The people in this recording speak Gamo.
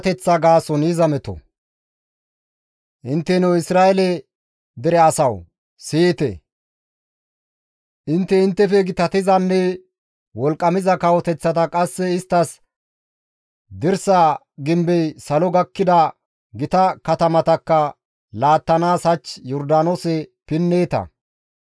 Intteno Isra7eele dere asawu! Siyite; intte inttefe gitatizanne wolqqamiza kawoteththata qasse isttas dirsa gimbey salo gakkida gita katamatakka laattanaas hach Yordaanoose pinneeta.